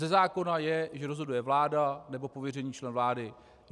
Ze zákona je, že rozhoduje vláda nebo pověřený člen vlády.